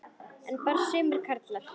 En bara sumir karlar.